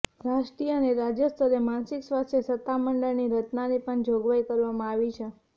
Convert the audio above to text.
રાષ્ટ્રીય અને રાજ્યસ્તરે માનસિક સ્વાસ્થ્ય સત્તામંડળની રચનાની પણ જોગવાઈ કરવામાં આવી છે